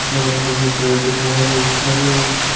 बरब्बर में पेड़ बहुत सारे और--